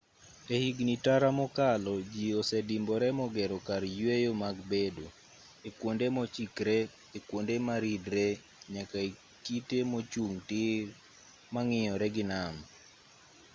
ehigni tara mokalo jii osedimbore mogero kar yueyo mag bedo ekuonde mochikree ekuonde maridree nyaka ekite mochung' tir mang'iyore gi nam